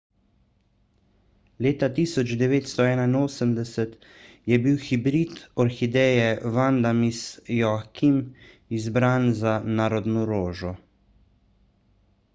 leta 1981 je bil hibrid orhideje vanda miss joaquim izbran za narodno rožo